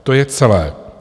To je celé.